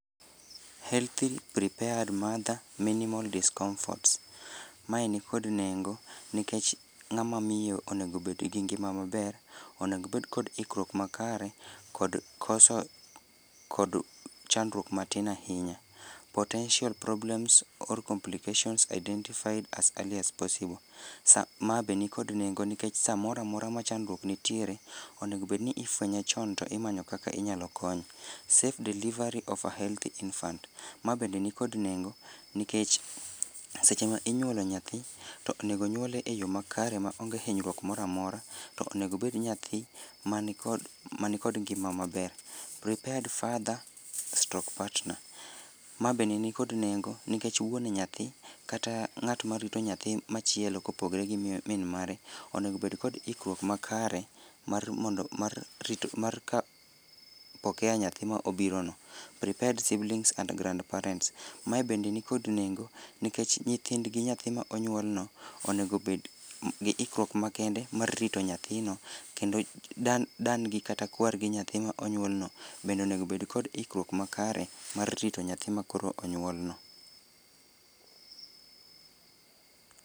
healthy prepared mother minimal discomforts, mae nikod nengo nikech ng'a mamiyo onego obed gi ngima maber, onego obed kod ikruok makare, kod koso kod chandruok matin ahinya. potential problems or complications identified as early as possible, sa ma be nikod nengo nikech samoro amora ma chandruok nitiere, onego bed ni ifwenye chon to imanyo kaka inyalo konye. safe delivery of a healthy infant, ma bende nikod nengo nikech, seche ma inyuolo nyathi, to onego onyuole eyo makare ma onge kod hinyruok moramora, to onego obed nyathi, ma nikod ma nikod ngima maber. prepared father stroke partner, ma bende nikod nengo nikech wuon nyathi kata ng'at ma rito nyathi machielo kopogre gi miyo min mare, onego obed kod ikruok makare, mar mondo mar rito mar pokea nyathi ma obiro no. prepared siblings and grand parents, mae bende nikod nengo, nikech nyithindgi nyathi ma onyuol no, onego obed gi ikruok makende mar rito nyathi no, kendo da dan gi kata kwar gi nyathi ma onyuol no, bende onego obed kod ikruok makare mar rito nyathi ma koro onyuol no